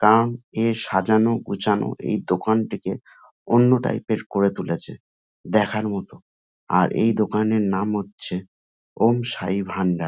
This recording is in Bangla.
কান এ সাজানো গোছানো এই দোকানটিকে অন্য টাইপ -এর করে তুলেছে দেখার মতো আর এই দোকান এর নাম হচ্ছে ওম সাই ভান্ডার।